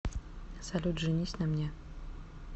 салют женись на мне